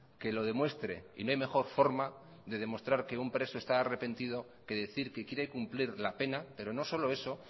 que lo demuestre y no hay mejor forma de demostrar que un preso está arrepentido que decir que quiere cumplir la pena pero no solo eso